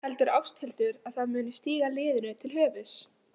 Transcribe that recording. Heldur Ásthildur að það muni stíga liðinu til höfuðs?